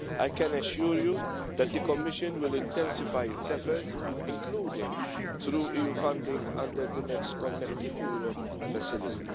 I can assure you that the Commission will intensify its efforts, including through EU funding under the next Connecting Europe Facility.